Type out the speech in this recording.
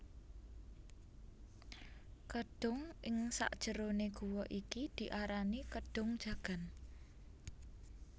Kedhung ing sakjerone guwa iki diarani Kedhung Jagan